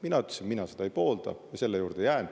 Mina ütlesin, et mina seda ei poolda, ja selle juurde ma jään.